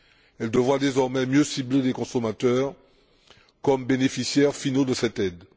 Elles devront, désormais, mieux cibler les consommateurs comme bénéficiaires finaux de cette aide.